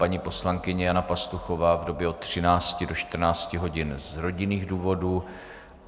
Paní poslankyně Jana Pastuchová v době od 13 do 14 hodin z rodinných důvodů.